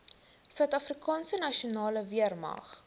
suidafrikaanse nasionale weermag